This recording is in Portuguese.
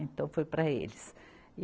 Então foi para eles. e